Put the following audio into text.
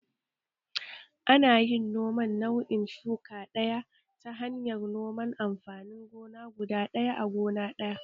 Ana yin noman nau'in shuka ɗaya ta hanyar noman amfanin gona guda ɗaya a gona ɗaya